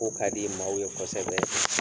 Ko kadi maaw ye kɔsɛbɛ